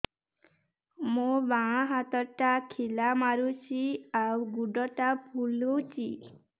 ମୋ ବାଆଁ ହାତଟା ଖିଲା ମାରୁଚି ଆଉ ଗୁଡ଼ ଟା ଫୁଲୁଚି